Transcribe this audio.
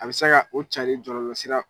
A bɛ se ka o carin jɔlɔlɔ sira